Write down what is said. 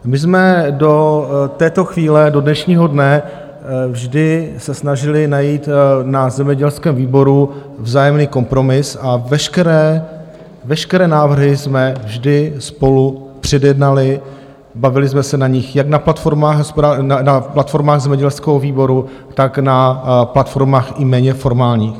My jsme do této chvíle, do dnešního dne vždy se snažili najít na zemědělském výboru vzájemný kompromis a veškeré návrhy jsme vždy spolu předjednali, bavili jsme se o nich jak na platformách zemědělského výboru, tak na platformách i méně formálních.